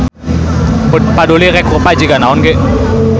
Paduli rek rupa jiga naon oge.